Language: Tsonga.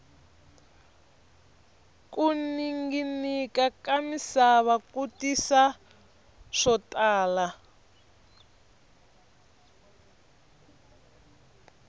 ku ninginika ka misava ku tisa swo tala